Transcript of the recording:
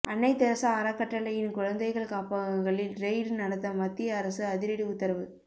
அன்னை தெரசா அறக்கட்டளையின் குழந்தைகள் காப்பகங்களில் ரெய்டு நடத்த மத்திய அரசு அதிரடி உத்தரவு